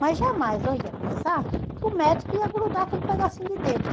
Mas jamais eu ia pensar que o médico ia grudar aquele pedacinho de dedo.